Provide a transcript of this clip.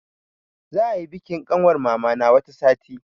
Za ayi bikin ƙanwar mama na wata sati.